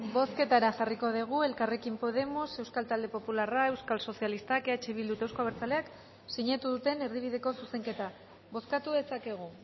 bozketara jarriko dugu elkarrekin podemos euskal talde popularra euskal sozialistak eh bildu eta euzko abertzaleak sinatu duten erdibideko zuzenketa bozkatu dezakegu